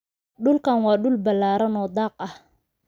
dulkaan waa dul balaaran oo daaq ah